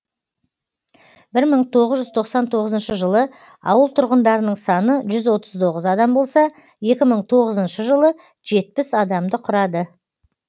бір мың тоғыз жүз тоқсан тоғызыншы жылы ауыл тұрғындарының саны жүз отыз тоғыз адам болса екі мың тоғызыншы жылы жетпіс адамды құрады